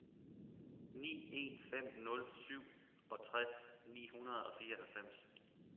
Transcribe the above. ni en fem nul syvogtres ni hundrede og fireoghalvfems